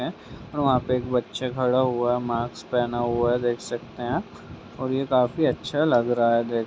है और वहाँ पे बच्चा खड़ा हुआ मास्क पहना हुआ है देख सकते है और ये काफी अच्छा लग रहा है देखने --